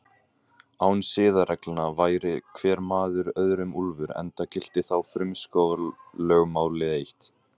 Án siðareglna væri hver maður öðrum úlfur, enda gilti þá frumskógarlögmálið eitt.